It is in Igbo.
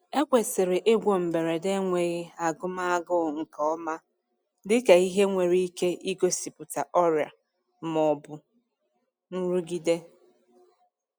Ekwesịrị ịgwọ mberede enweghi agụm agụụ nke ọma dịka ihe nwere ike igosipụta ọrịa ma ọ bụ nrụgide.